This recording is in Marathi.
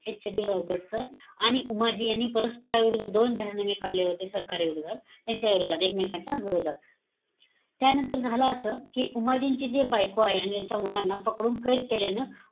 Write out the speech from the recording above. HD रॉबर्टसन, आणि उमाजी यांनी परस्परविरुद्ध दोन जाहीरनामे काढले होते सरकार विरोधात. त्यांच्या विरोधात, एकमेकांच्या विरोधात. त्यानंतर झालं असं, कि उमाजीची जी बायको आहे, आणि यांच्या मुलांना पकडून कैद केल्यानं,